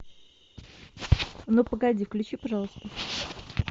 ну погоди включи пожалуйста